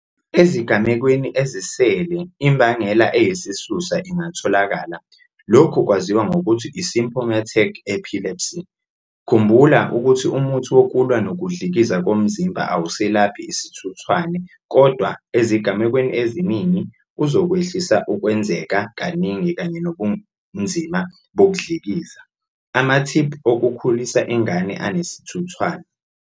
Ezigamekweni ezisele imbangela eyisisusa ingatholakala, lokhu kwaziwa ngokuthi i-symptomatic epilepsy. Khumbula, ukuthi umuthi wokulwa nokudlikiza komzimba awuselaphi isithuthwane kodwa, ezigamekweni eziningi, uzokwehlisa ukwenzeka kaningi kanye nobunzima bokudlikiza. Amathiphu okukhulisa ingane enesithuthwane.